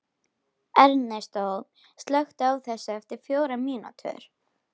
Ernestó, slökktu á þessu eftir fjórar mínútur.